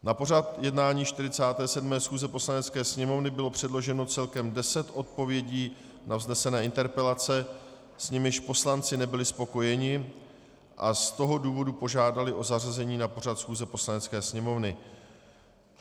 Na pořad jednání 47. schůze Poslanecké sněmovny bylo předloženo celkem deset odpovědí na vznesené interpelace, s nimiž poslanci nebyli spokojeni, a z toho důvodu požádali o zařazení na pořad schůze Poslanecké sněmovny.